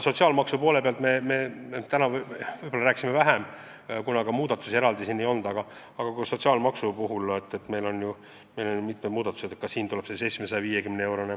Sotsiaalmaksust me täna rääkisime vähem, aga ka sotsiaalmaksus tuleb mitmeid muudatusi.